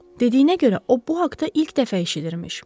Dediyinə görə o bu haqda ilk dəfə eşidirmiş.